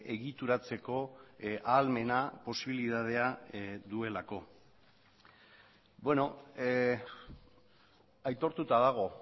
egituratzeko ahalmena posibilitatea duelako aitortuta dago